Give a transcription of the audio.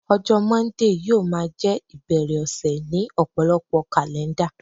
ọjọ Monday yíò ma je ibere ọsẹ ni ọpọlọpọ kalẹnda